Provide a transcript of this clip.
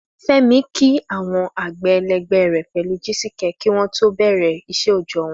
Fẹ́mi kí àwọn àgbẹ̀ ẹlẹgbẹ́ rẹ̀ pẹ̀lú Jisike kí ó tó bẹ̀rẹ̀ iṣẹ́ òòjọ́ wọn.